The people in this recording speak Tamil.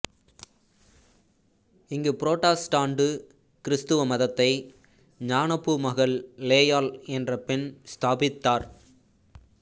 இங்கு புராட்டஸ்டாண்டு கிறிஸ்தவ மதத்தை ஞானப்பூ மகள் லேயாள் என்ற பெண் ஸ்தாபித்தார்